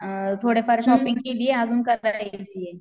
अअ थोडेफार शॉपिंग केलीये अजून करायची आहे